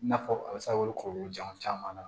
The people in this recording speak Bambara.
I n'a fɔ a bɛ se ka wele k'olu caman na